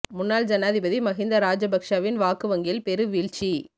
முன்னாள் ஜனாதிபதி மஹிந்த ராஜபக்ஷவின் வாக்கு வங்கியில் பெரு வீழ்ச்சி